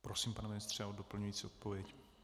Prosím, pane ministře, o doplňující odpověď.